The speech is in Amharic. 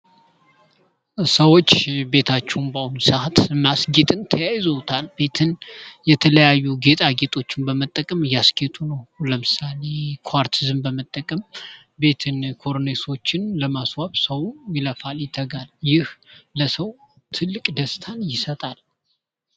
ሰዎች ቤታቸውን በአሁኑ ሰዓት ማስጌጥን ተያይዘውታል ቤትን የተለያዩ ጌጣጌጦችን በመጠቀም እያስጌጡ ነው ለምሳሌ ኳርትዝን በመጠቀም ቤትን ኮርኒሶችን ለማስዋብ ሰዉ ይደክማል ይለፋል ይህ ለሰው ትልቅ ደስታን ይሰጣል።